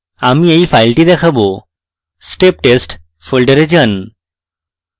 আমি এই file দেখাবো step test folder যান